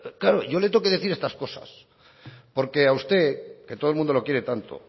claro yo le tengo que decir estas cosas porque a usted que todo el mundo le quiere tanto